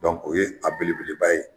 o ye a belebeleba ye